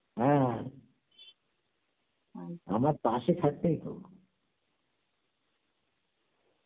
হ্যাঁ, আমার পাসে factory তো